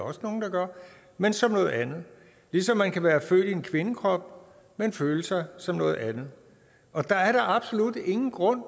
også nogle der gør men som noget andet ligesom man kan være født i en kvindekrop men føle sig som noget andet og der er da absolut ingen grund